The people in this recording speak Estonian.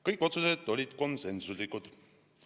Kõik otsused olid konsensuslikud.